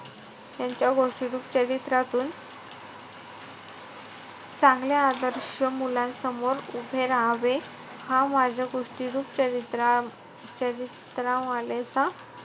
यांच्या गोष्टीरूप चरित्रातून चांगले आदर्श मुलांसमोर उभे राहावे. हा माझा गोष्टीरूप चरित्रा~ चरित्रा मालेचा,